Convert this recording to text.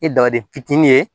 I dabaden fitinin ye